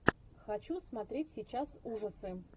хочу смотреть сейчас ужасы